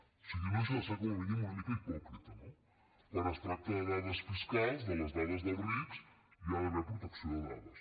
o sigui no deixa de ser com a mínim una mica hipòcrita no quan es tracta de dades fiscals de les dades dels rics hi ha d’haver protecció de dades